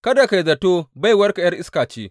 Kada ka yi zato baiwarka ’yar iska ce.